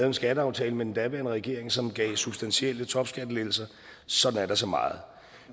en skatteaftale med den daværende regering som gav substantielle topskattelettelser sådan er der så meget